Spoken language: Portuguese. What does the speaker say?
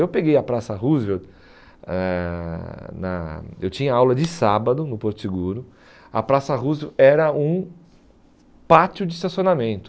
Eu peguei a Praça Roosevelt, ãh na eu tinha aula de sábado no Porto Seguro, a Praça Roosevelt era um pátio de estacionamento.